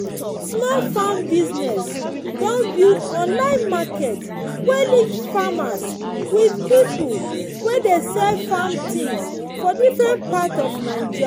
small farm business don build online market wey link farmers with pipo wey de sell farm things for different part of naija